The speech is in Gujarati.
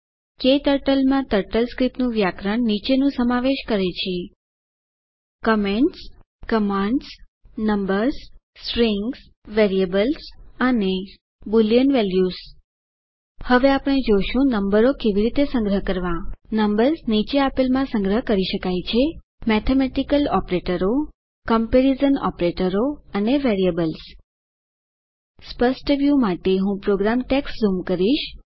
ક્ટર્ટલ માં ટર્ટલસ્ક્રિપ્ટ નું વ્યાકરણ નીચેનું સમાવેશ કરે છે comments commands numbers strings variables અને બુલિયન વેલ્યુઝ હવે આપણે જોશું નંબરો કેવી રીતે સંગ્રહ કરવા નંબર્સ નીચે આપેલમાં માં સંગ્રહ કરી શકાય છે મેથેમેટિકલ ઓપરેટરો કમ્પેરિઝન ઓપરેટરો અને વેરિયેબલ્સ સ્પષ્ટ વ્યુ માટે હું પ્રોગ્રામ ટેક્સ્ટ ઝૂમ કરીશ